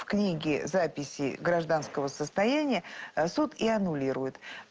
в книги записи гражданского состояния а суд и аннулирует